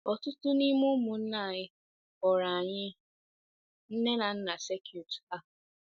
Ọtụtụ n’ime ụmụnna anyị kpọrọ anyị nne na nna circuit ha.